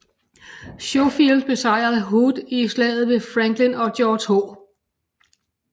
Schofield besejrede Hood i Slaget ved Franklin og George H